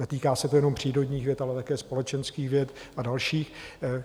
Netýká se to jenom přírodních věd, ale také společenských věd a dalších.